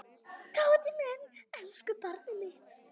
Tóti minn, elsku barnið mitt.